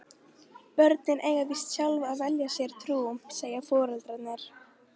Börnin eiga víst sjálf að velja sér trú, segja foreldrarnir.